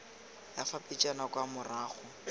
ya fa pejana kwa morago